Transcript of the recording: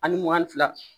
Ani mugan ni fila